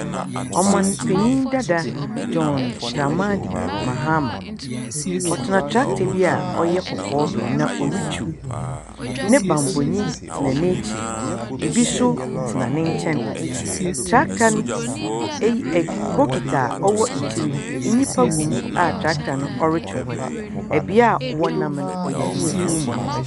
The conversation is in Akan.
Ɔmanpanin dada John Dramani Mahama. Ɔtena tractor bi a ɔyɛ kɔkɔɔ do na ɔritwiw. Ne bambɔni ten n'ekyir. Ebi nso tena ne nkyɛn. Tractor no eyi ɛ bokiti a ɔwɔ akyir no, nnipa gum a tractor no ɔretwe hɔn. Beaeɛ a wɔnam no ɔyɛ mfuo mu.